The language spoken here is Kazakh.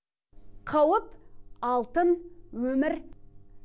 қауып алтын өмір